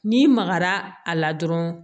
N'i magara a la dɔrɔn